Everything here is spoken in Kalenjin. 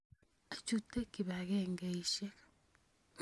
Achute kipakengeisyek.